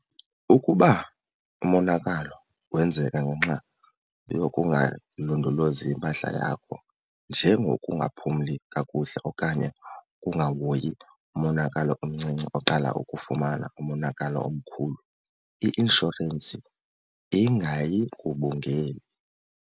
Ukuba umonakalo wenzeka ngenxa yokungalondolozi impahla yakho njengokungaphumli kakuhle okanye ukungahoyi umonakalo omncinci oqala ukufumana umonakalo omkhulu, i-inshorensi ingayigubungeli.